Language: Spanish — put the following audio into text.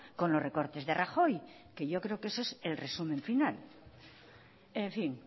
con los recortes de rajoy que yo creo que eso es el resumen final en fin